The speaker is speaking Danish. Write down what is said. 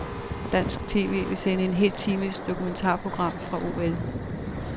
Dansk tv vil sende en hel times dokumentarprogram fra OL.